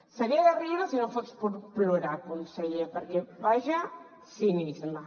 seria de riure si no fos per plorar conseller perquè quin cinisme